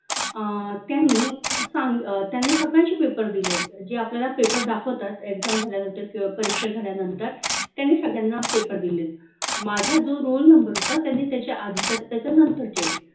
अह त्यांनी त्यांनी सगळ्यांचे paper दिले जे आपल्याला paper दाखवतात exam झाल्यानंतर परीक्षा झाल्यानंतर त्यांनी सगळ्यांना paper दिले माझा जो roll number होता त्यांनी त्याच्या आधीचा त्याच्यानंतर चे